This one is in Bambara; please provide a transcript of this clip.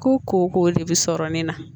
Ko koko de bɛ sɔrɔ nin na